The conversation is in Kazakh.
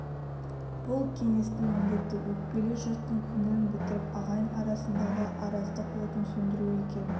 бұл кеңестің міндеті өкпелі жұрттың көңілін бітіріп ағайын арасындағы араздық отын сөндіру екен